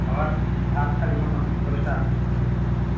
আবার ভাত খাবি কখন দশটা